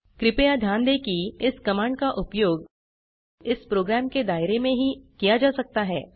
कृपया ध्यान दें कि इस कमांड का उपयोग इस प्रोग्राम के दायरे में ही किया जा सकता है